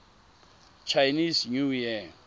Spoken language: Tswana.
chinese new year